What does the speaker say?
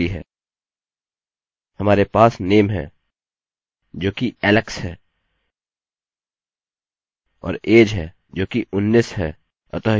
हमारे पास name है जोकि alex है और age है जोकि 19 है